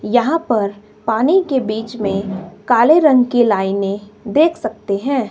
यहां पर पानी के बीच में काले रंग की लाइने देख सकते हैं।